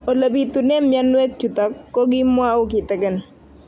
Ole pitune mionwek chutok ko kimwau kitig'�n